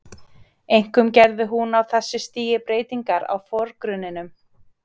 Einkum gerði hún á þessu stigi breytingar á forgrunninum.